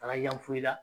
Taga yan foyi la